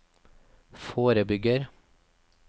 forebygger